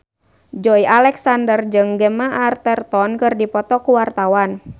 Joey Alexander jeung Gemma Arterton keur dipoto ku wartawan